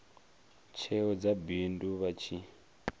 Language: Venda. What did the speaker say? tsheo dza bindu vha tshi